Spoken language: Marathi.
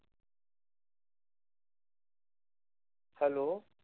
hello